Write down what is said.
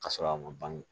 Ka sɔrɔ a ma ban